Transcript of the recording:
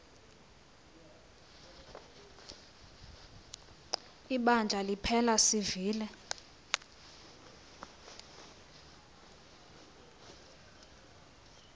ibandla liphela sivile